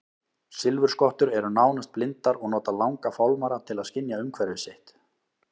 Silfurskottur eru nánast blindar og nota langa fálmara til að skynja umhverfi sitt.